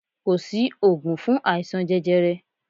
Ko si ògùn fun aisan jẹjẹrẹ